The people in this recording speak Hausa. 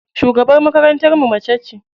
Shugabar makarantar mu macece.